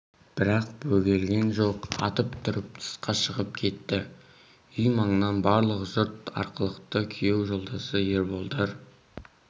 бірақ бөгелген жоқ атып тұрып тысқа шығып кетті үй маңынан барлық жұрт арылыпты күйеу жолдасы ерболдар